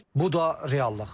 Bu da reallıq.